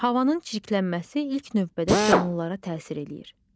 Havanın çirklənməsi ilk növbədə canlılara təsir eləyir.